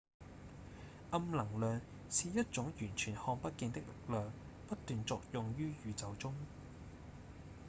暗能量是一種完全看不見的力量不斷作用於宇宙中